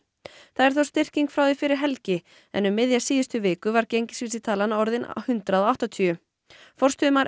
það er þó styrking frá því fyrir helgi en um miðja síðustu viku var gengisvísitalan orðin hundrað og áttatíu forstöðumaður